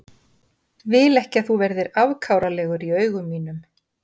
Vil ekki að þú verðir afkáralegur í augum mínum.